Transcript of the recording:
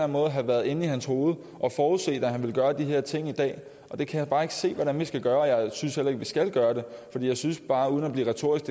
måde have været inde i hans hovede og forudset at han ville gøre de her ting i dag det kan jeg bare ikke se hvordan vi skal gøre og jeg synes heller ikke at vi skal gøre det for jeg synes bare uden at blive retorisk